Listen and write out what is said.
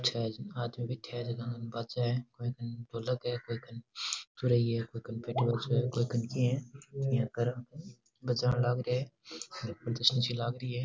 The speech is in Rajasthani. चार आदमी बैठ्या है जका कने बाजे ढोलक है कोई कने कोई कने पेटीबाजो है कोई कने की है यहाँ कर बजान लाग रिया है लाग री है।